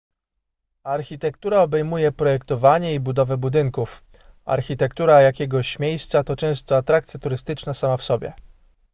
architektura obejmuje projektowanie i budowę budynków architektura jakiegoś miejsca to często atrakcja turystyczna sama w sobie